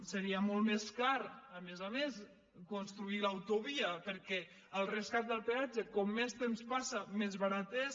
seria molt més car a més a més construir l’autovia perquè el rescat del peat·ge com més temps passa més barat és